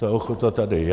Ta ochota tady je.